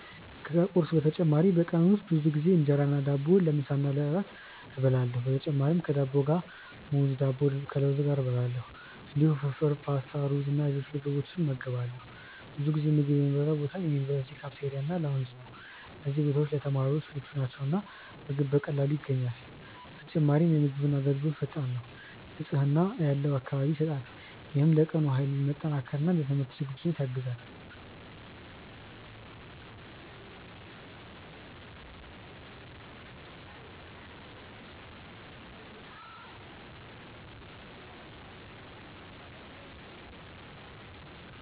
ከቁርስ በተጨማሪ በቀን ውስጥ ብዙ ጊዜ እንጀራ እና ዳቦ ለምሳ እና ለእራት እበላለሁ። በተጨማሪም ከዳቦ ጋር ሙዝ፣ ዳቦ ከለውዝ ጋር እበላለሁ። እንዲሁም ፍርፍር፣ ፓስታ፣ ሩዝ እና ሌሎች ምግቦችን እመገባለሁ። ብዙ ጊዜ ምግብ የምበላበት ቦታ የዩኒቨርሲቲ ካፍቴሪያ እና ላውንጅ ነው። እነዚህ ቦታዎች ለተማሪዎች ምቹ ናቸው እና ምግብ በቀላሉ ይገኛል። በተጨማሪም የምግብ አገልግሎት ፈጣን ነው፣ ንጽህና ያለው አካባቢ ይሰጣል። ይህም ለቀኑ ኃይል መጠናከር እና ለትምህርት ዝግጁነት ያግዛል።